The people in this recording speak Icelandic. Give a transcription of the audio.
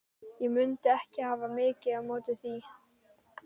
Ég mundi ekki hafa mikið á móti því.